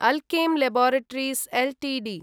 Alkem laboratories Ltd